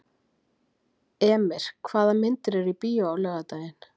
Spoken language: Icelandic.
Emir, hvaða myndir eru í bíó á laugardaginn?